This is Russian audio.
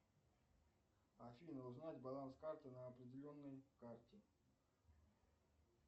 афина узнать баланс карты на определенной карте